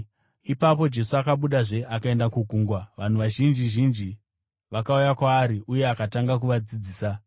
Ipapo Jesu akabudazve akaenda kugungwa. Vanhu vazhinji zhinji vakauya kwaari uye akatanga kuvadzidzisa.